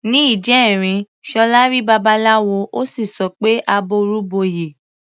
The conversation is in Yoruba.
Ní ìjẹrin, Ṣọlá rí Babaláwo, ó sì sọ pé "àbọrú bọyè".